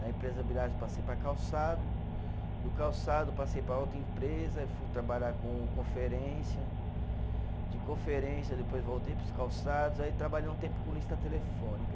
Da empresa Villares passei para calçado, do calçado passei para outra empresa, fui trabalhar com conferência, de conferência depois voltei para os calçados, aí trabalhei um tempo com lista telefônica.